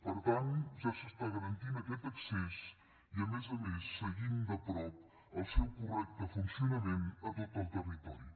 per tant ja s’està garantint aquest accés i a més a més seguint de prop el seu correcte funcionament a tot el territori